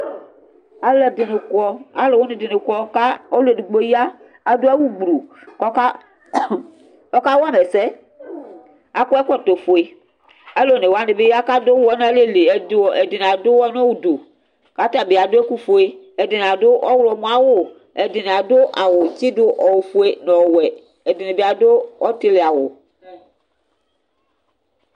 aloɛdini kɔ alowini dini kɔ k'ɔlu edigbo ya ado awu gblo k'ɔka wa ma ɛsɛ akɔ ɛkɔtɔ fue alo one wani bi ya k'ado uwɔ n'alɛ li ɛdini ado uwɔ n'udu k'atabi ado ɛkòfue ɛdini ado ɔwlɔmɔ awu ɛdini ado awu tsi do ofue no ɔwɛ ɛdini bi ado ɔtili awu